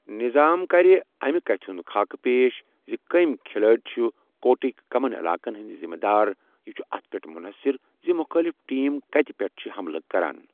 نظام کَرِ اَمہِ کَتھِ ہُنٛد خاکہ پیش زِ کٔمۍ کھلٲڑۍ چھِ کورٹٕک کٔمَن علاقَن ہٕنٛدۍ ذمہٕ دار یہِ چھُ اَتھ پٮ۪ٹھ منحصر زِ مُخٲلف ٹیم کَتہِ پٮ۪ٹھ چھِ حملہٕ کران۔